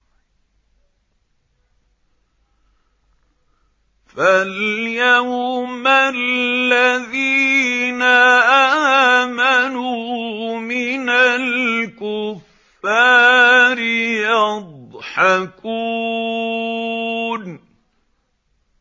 فَالْيَوْمَ الَّذِينَ آمَنُوا مِنَ الْكُفَّارِ يَضْحَكُونَ